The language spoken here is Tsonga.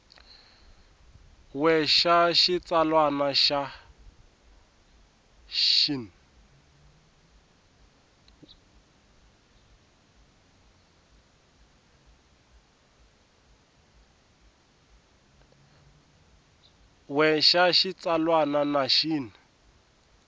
we xa xitsalwana na xin